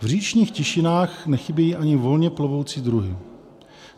V říčních tišinách nechybějí ani volně plovoucí druhy.